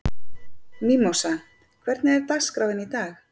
Mímósa, hvernig er dagskráin í dag?